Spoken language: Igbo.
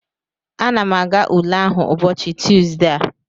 Ana m aga ule ahụ ụbọchị Tusdee a